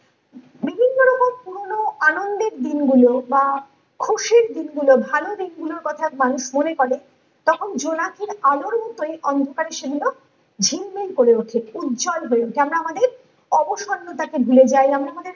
বিভিন্ন রকম পুরোনো আনন্দের দিন গুলো বা খুশির দিন গুলো ভালো দিন গুলো কথা মানুষ মনে করে তখন জোনাকির আলোর মতোই অন্ধকারে সেগুলো ঝিলমিল করে ওঠে উজ্জ্বল হয়ে যেন আমাদের অবসন্নতা কে ভুলে যাই আমরা আমাদের